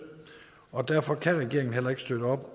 og derfor kan regeringen heller ikke støtte op